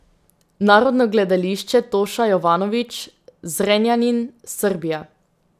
Narodno gledališče Toša Jovanović, Zrenjanin, Srbija.